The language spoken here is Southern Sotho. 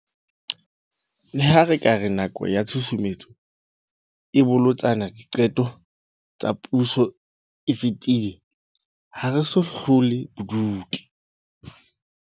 Leha re ka re nako ya tshusumetso e bolotsana diqetong tsa puso e fetile, ha re so hlole bobodu.